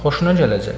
Xoşuna gələcək.